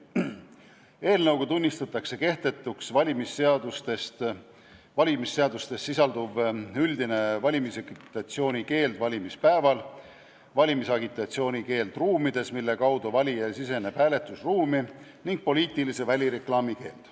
Eelnõuga tunnistatakse kehtetuks valmisseadustes sisalduv üldine valimisagitatsiooni keeld valimispäeval, valimisagitatsiooni keeld ruumides, mille kaudu valija siseneb hääletusruumi, ning poliitilise välireklaami keeld.